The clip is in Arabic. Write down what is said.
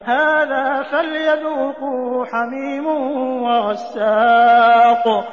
هَٰذَا فَلْيَذُوقُوهُ حَمِيمٌ وَغَسَّاقٌ